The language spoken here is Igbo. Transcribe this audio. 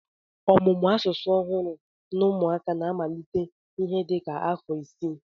Ọmụmụ asụsụ ọhụrụ n'ụmụaka na-amalite ihe dị ka n'afọ isii